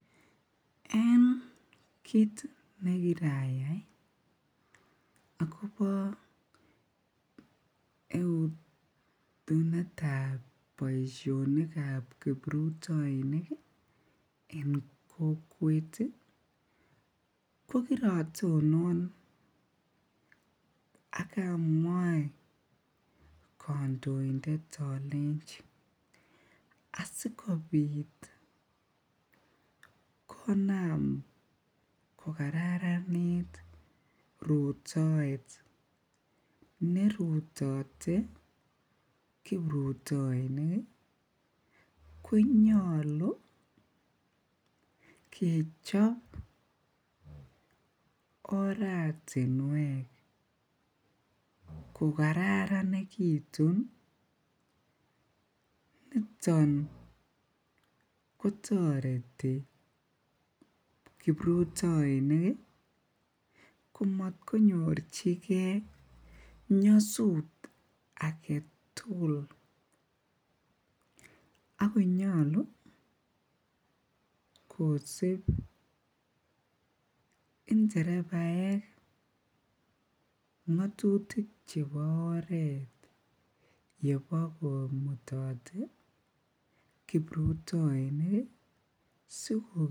En kiit nekkirayai akobo etunetab boishonikab kiprutoinik en kokwet ko kirotonon ak amwai kondointet olenchi asikobit konam ko kararanit rutoet nerutote kiprutoinik konyolu kechop oratinwek ko kararanekitun, niton kotoreti kiprutoinik komotkonyorchike nyosut aketukul ak konyolu kosib nderebaek ngotutik chebo oreet yemokomutote kiprutoinik.